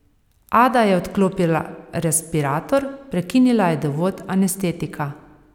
Ada je odklopila respirator, prekinila je dovod anestetika.